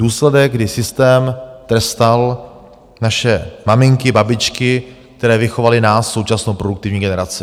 Důsledek, kdy systém trestal naše maminky, babičky, které vychovaly nás, současnou produktivní generaci.